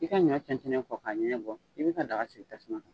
I ka ɲɔ tɛntɛn kɔ ka ɲɛnɲɛn bɔ, i b'i ka daga sigi tasuma kan.